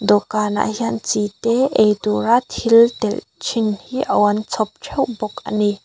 dawhkanah hian chi te eitura thil telh thin hi aw an chhawp theuh bawk a ni.